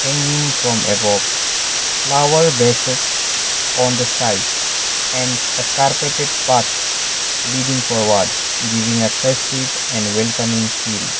hanging from above flower vases on the sides and a carpeted leading forward giving a festive welcoming feel.